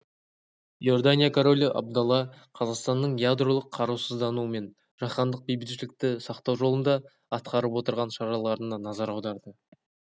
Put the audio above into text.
иордания королі абдалла қазақстанның ядролық қарусыздану мен жаһандық бейбітшілікті сақтау жолында атқарып отырған шараларына назар аударды